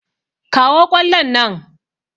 Kawo ƙwallon nan!